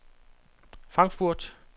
Frankfurt